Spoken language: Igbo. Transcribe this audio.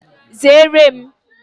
Zere m!